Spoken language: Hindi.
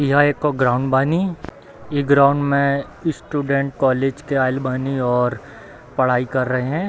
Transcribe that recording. यह एगो ग्राउंड बानी | इ ग्राउंड मै स्टूडेंट कॉलेज के आएल बानी और पढ़ाई कर रहे हैं |